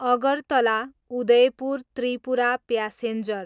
Agartala, Udaipur Tripura passenger